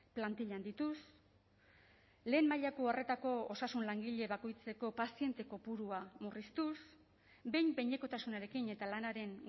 plantilla handituz lehen mailako arretako osasun langile bakoitzeko paziente kopurua murriztuz behin behinekotasunarekin eta lanaren